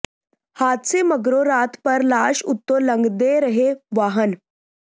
ਹਾਦਸੇ ਮਗਰੋਂ ਰਾਤ ਭਰ ਲਾਸ਼ ਉੱਤੋਂ ਲੰਘਦੇ ਰਹੇ ਵਾਹਨ